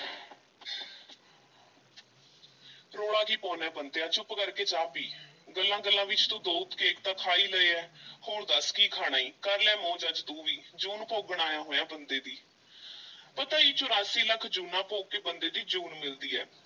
ਰੌਲਾ ਕੀ ਪਾਉਨਾ ਹੈ ਬੰਤਿਆ ਚੁੱਪ ਕਰ ਕੇ ਚਾਹ ਪੀ, ਗੱਲਾਂ-ਗੱਲਾਂ ਵਿੱਚ ਤੂੰ ਦੋ ਕੇਕ ਤਾਂ ਖਾ ਈ ਲਏ ਐ ਹੋਰ ਦੱਸ ਕੀ ਖਾਣਾ ਈ, ਕਰ ਲੈ ਮੌਜ ਅੱਜ ਤੂੰ ਵੀ, ਜੂਨ ਭੋਗਣ ਆਇਆ ਹੋਇਆਂ ਬੰਦੇ ਦੀ ਪਤਾ ਈ ਚੁਰਾਸੀ ਲੱਖ ਜੂਨਾਂ ਭੋਗ ਕੇ ਬੰਦੇ ਦੀ ਜੂਨ ਮਿਲਦੀ ਐ